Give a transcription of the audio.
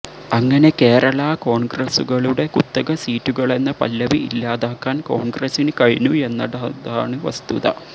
അങ്ങനെ കേരളാ കോൺഗ്രസുകളുടെ കുത്തക സീറ്റുകളെന്ന പല്ലവി ഇല്ലാതാക്കാൻ കോൺഗ്രസിന് കഴിഞ്ഞു എന്നതാണ് വസ്തുത